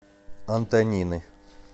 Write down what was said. антонины